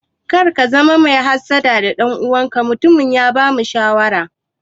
Kar ka zama mai hassada ga ɗan uwanka, mutumin ya bamu shawara.